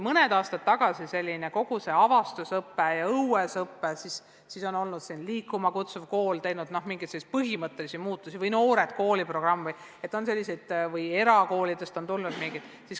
Mõned aastad tagasi oli uudne kogu see avastusõpe ja õuesõpe, siis tuli "Liikuma kutsuv kool", mingisuguseid põhimõttelisi muutusi tõi kaasa programm "Noored kooli", ka erakoolidest on üht-teist tulnud.